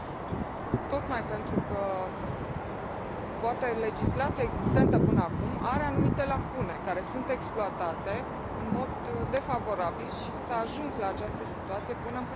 Tocmai pentru că poate legislația existentă până acum are anumite lacune care sunt exploatate în mod defavorabil și s a ajuns la această situație până în prezent.